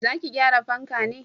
Za ki gyara fanka ne?